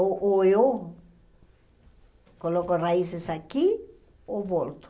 Ou ou eu coloco raízes aqui ou volto.